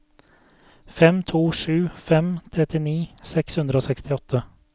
fem to sju fem trettini seks hundre og sekstiåtte